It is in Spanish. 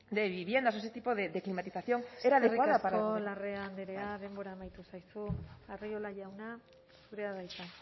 de viviendas o ese tipo de climatización era adecuada para eskerrik asko larrea andrea denbora amaitu zaizu arriola jauna zurea da hitza